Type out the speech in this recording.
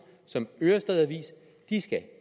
som ørestad avis